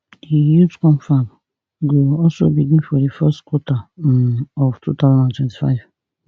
di youth confab go also begin for di first quarter um of two thousand and twenty-five